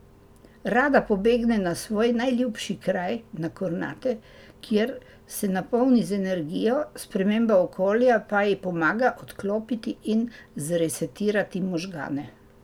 Rada pobegne na svoj najljubši kraj, na Kornate, kjer se napolni z energijo, sprememba okolja pa ji pomaga odklopiti in zresetirati možgane.